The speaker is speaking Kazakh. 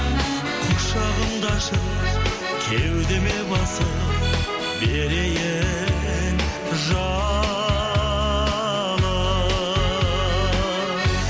құшағымды ашып кеудеме басып берейін жалын